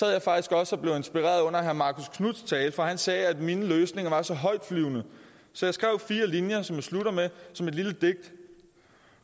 jeg faktisk også og blev inspireret under herre marcus knuths tale for han sagde at mine løsninger var så højtflyvende så jeg skrev fire linjer som jeg slutter med som et lille digt